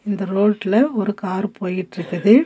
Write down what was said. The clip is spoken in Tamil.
இந்த ரோட்ல ஒரு கார் போயிட்ருக்குது.